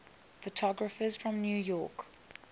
photographers from new york